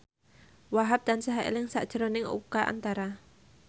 Wahhab tansah eling sakjroning Oka Antara